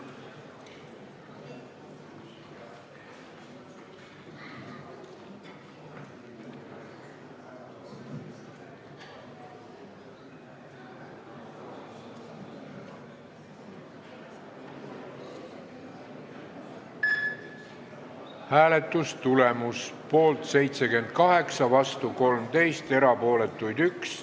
Hääletustulemused Hääletustulemus: poolt 78, vastu 13, erapooletuid 1.